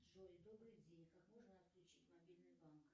джой добрый день как можно отключить мобильный банк